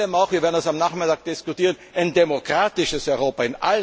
Europa. Und vor allem auch wir werden das am Nachmittag diskutieren ein demokratisches